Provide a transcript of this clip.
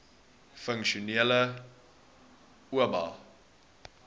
funksionele oba